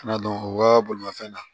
Kana dɔn o ka bolimafɛn na